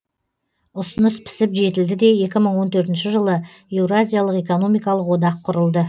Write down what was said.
ұсыныс пісіп жетілді де екі мың он төртінші жылы еуразиялық экономикалық одақ құрылды